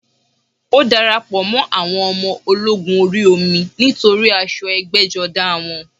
Ó darapọ̀ mọ́ àwọn ọmọ ológun orí omi nítorí aṣọ ẹgbẹ́jọdá wọn